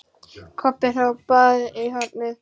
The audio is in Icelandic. Kobbi hrópaði í hornið.